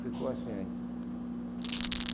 Ficou assim,